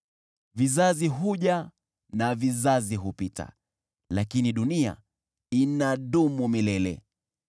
Vizazi huja na vizazi hupita, lakini dunia inadumu milele.